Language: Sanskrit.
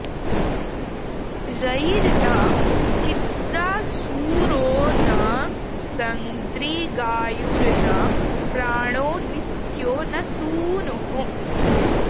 र॒यिर्न चि॒त्रा सूरो॒ न सं॒दृगायु॒र्न प्रा॒णो नित्यो॒ न सू॒नुः